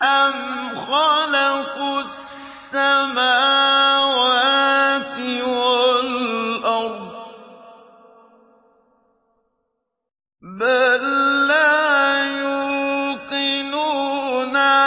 أَمْ خَلَقُوا السَّمَاوَاتِ وَالْأَرْضَ ۚ بَل لَّا يُوقِنُونَ